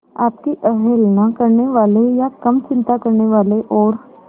आपकी अवहेलना करने वाले या कम चिंता करने वाले और